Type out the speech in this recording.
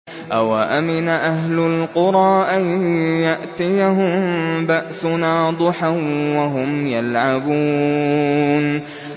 أَوَأَمِنَ أَهْلُ الْقُرَىٰ أَن يَأْتِيَهُم بَأْسُنَا ضُحًى وَهُمْ يَلْعَبُونَ